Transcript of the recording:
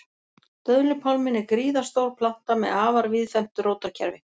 Döðlupálminn er gríðarstór planta með afar víðfeðmt rótarkerfi.